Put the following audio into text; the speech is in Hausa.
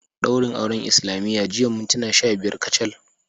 Daurin auren islamiyya jiya mintuna sha biyar kacal